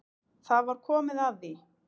Það var komið að því.